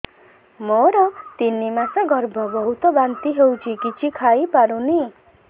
ମୋର ତିନି ମାସ ଗର୍ଭ ବହୁତ ବାନ୍ତି ହେଉଛି କିଛି ଖାଇ ପାରୁନି